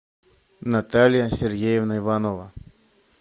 наталья сергеевна иванова